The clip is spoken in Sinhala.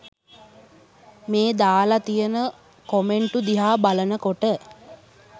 මේ දාල තියෙන කොමෙන්ටු දිහා බලන කොට